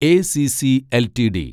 ACC LTD